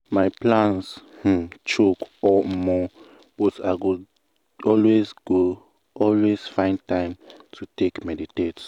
my plan um choke omo!!! but i go always go always find time to take meditate.